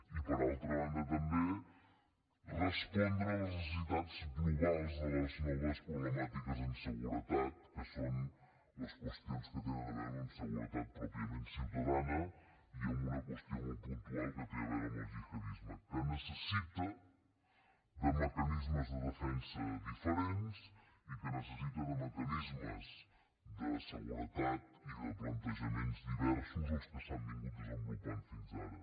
i per altra banda també respondre a les necessitats globals de les noves problemàtiques en seguretat que són les qüestions que tenen a veure amb seguretat pròpiament ciutadana i amb una qüestió molt puntual que té a veure amb el gihadisme que necessita mecanismes de defensa diferents i que necessita mecanismes de seguretat i plantejaments diversos dels que s’han desenvolupat fins ara